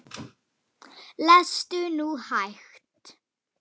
Lestu nú hægt!